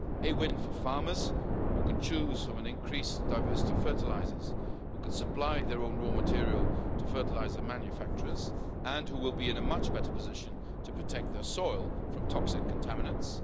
a win for farmers, who can choose from an increased diversity of fertilisers, who can supply their own raw material to fertiliser manufacturers and who will be in a much better position to protect their soil from toxic contaminants